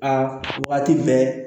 Aa waati bɛɛ